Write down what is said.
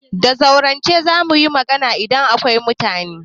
Da zaurance za mu yi magana idan akwai mutane.